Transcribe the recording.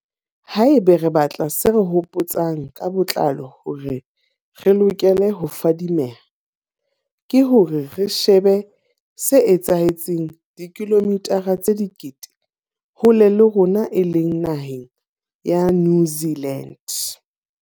Haeba re batla se re hopo tsang ka botlalo hore re lokele ho fadimeha, ke hore re shebe se etsahetseng dikilomithara tse dikete hole le rona e leng naheng ya New Zealand.